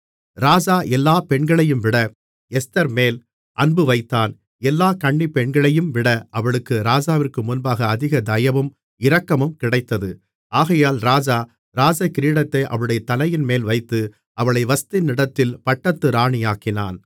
ராஜா எல்லாப் பெண்களையும்விட எஸ்தர்மேல் அன்புவைத்தான் எல்லா கன்னிப்பெண்களையும்விட அவளுக்கு ராஜாவிற்கு முன்பாக அதிக தயவும் இரக்கமும் கிடைத்தது ஆகையால் ராஜா ராஜகிரீடத்தை அவளுடைய தலையின்மேல் வைத்து அவளை வஸ்தியின் இடத்தில் பட்டத்து ராணியாக்கினான்